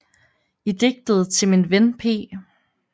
I digtet Til min Ven P